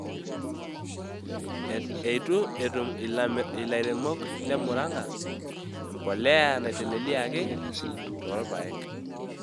Eitu etum ilairemok le Murang`a empolea naitelelieaki too irpaek.